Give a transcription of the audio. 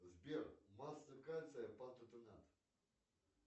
сбер масса кальция пататенат